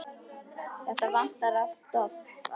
Þetta vantar allt of oft.